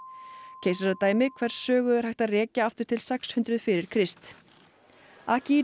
keisaradæmi hvers sögu er hægt að rekja aftur til sex hundruð fyrir Krist